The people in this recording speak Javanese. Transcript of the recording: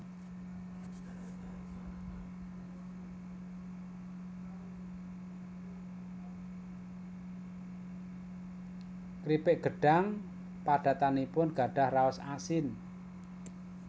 Kripik gedhang padatanipun gadhah raos asin